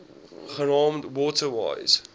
genaamd water wise